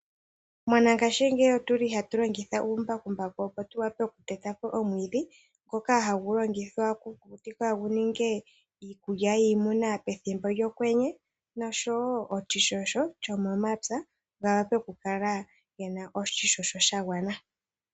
Mongashingeyi otuli hatu longitha uumbakumbaku opo tu wape oku teta po omwiidhi ngoka hagu longithwa oku kukutikwa yi ninge iikulya yiinamwenyo yopokwenye oshowo oshishosho shomomapya opo ya kale yena oshishosho sha gwana .